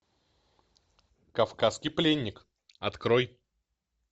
кавказский пленник открой